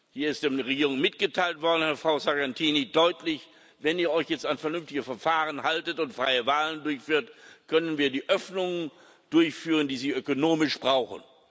Hier ist der Regierung mitgeteilt worden und, Frau Sargentini, deutlich Wenn ihr euch jetzt an vernünftige Verfahren haltet und freie Wahlen durchführt, können wir die Öffnung durchführen, die Sie ökonomisch brauchen.